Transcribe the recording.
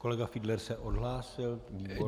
Kolega Fiedler se odhlásil, výborně.